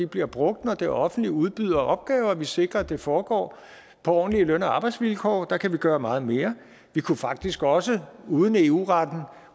bliver brugt når det offentlige udbyder opgaver vi kan sikre at det foregår på ordentlige løn og arbejdsvilkår der kan vi gøre meget mere vi kunne faktisk også uden at eu retten